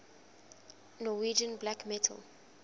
norwegian black metal